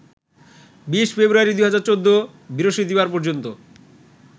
২০ ফেব্রুয়ারি ২০১৪ বৃহস্পতিবার পর্যন্ত